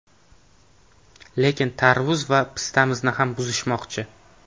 Lekin tarvuz va pistamizni ham buzishmoqchi.